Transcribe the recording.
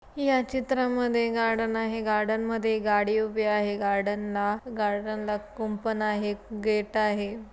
या चित्रामध्ये गार्डन आहे गार्डनमध्ये गाडी उभी आहे गार्डनला गार्डनला कुंपण आहे गेट आहे.